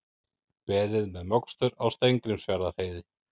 Beðið með mokstur á Steingrímsfjarðarheiði